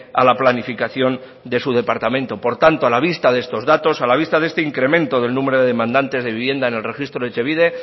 a la planificación de su departamento por tanto a la vista de estos datos a la vista de este incremento del número de demandantes de vivienda en el registro de etxebide